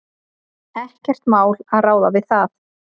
Ekkert mál að ráða við það.